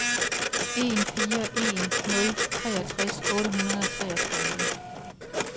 en fire en nul treogtres otte hundrede og treogtredive